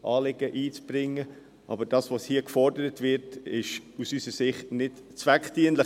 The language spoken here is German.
Aber was hier gefordert wird, ist aus unserer Sicht nicht zweckdienlich.